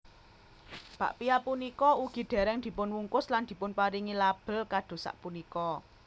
Bakpia punika ugi dèrèng dipunwungkus lan dipunparingi label kados sapunika